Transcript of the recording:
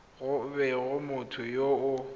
go bega motho yo o